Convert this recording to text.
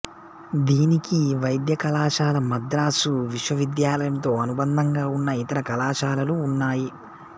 దీనికి వైద్య కళాశాల మద్రాసు విశ్వవిద్యాలయంతో అనుబంధంగా ఉన్న ఇతర కళాశాలలు ఉన్నాయి